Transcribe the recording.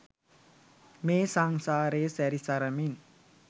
මේ සංසාරේ සැරි සරමින්